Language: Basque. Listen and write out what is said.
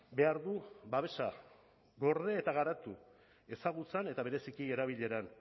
behar du babesa gorde eta garatu ezagutzan eta bereziki erabileran